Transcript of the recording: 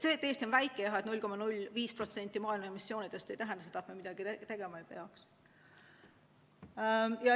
See, et Eesti on väike ja toodab 0,05% maailma emissioonidest, ei tähenda seda, et me midagi tegema ei peaks.